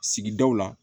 Sigidaw la